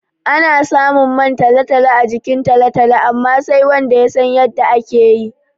Ana samun man talo-talo a jikin talo-talo amma, sai wanda ya san yadda ake yi.